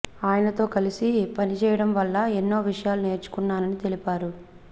ఆయనతో కలిసి పని చేయడం వల్ల ఎన్నో విషయాలు నేర్చుకున్నానని తెలిపారు